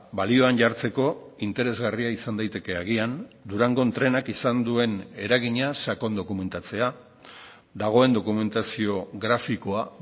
balioan jartzeko interesgarria izan daiteke agian durangon trenak izan duen eragina sakon dokumentatzea dagoen dokumentazio grafikoa